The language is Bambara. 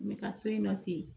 N bɛ ka to yen nɔ ten